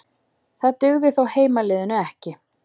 Það dugði þó heimaliðinu ekki